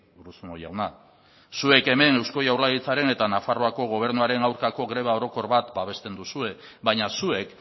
urruzuno jauna zuek hemen eusko jaurlaritzaren eta nafarroako gobernuaren aurkako greba orokor bat babesten duzue baina zuek